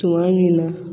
Tuma min na